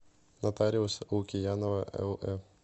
нотариус лукиянова лэ